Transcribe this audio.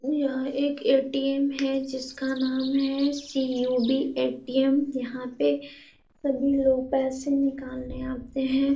यह एक ए.टी.एम. है। जिसका नाम है सी.यू.बी. ए.टी.एम. यहाँ पे सभी लोग पैसे निकालने आते हैं।